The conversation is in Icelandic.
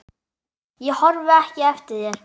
Ég horfi ekki eftir þér.